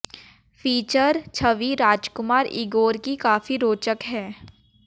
feature छवि राजकुमार Igor की काफी रोचक है